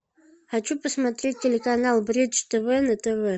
хочу посмотреть телеканал бридж тв на тв